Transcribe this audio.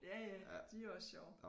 Ja ja de er også sjove